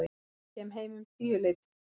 Kem heim um tíuleytið.